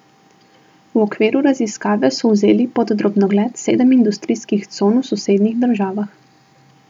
V okviru raziskave so vzeli pod drobnogled sedem industrijskih con v sosednjih državah.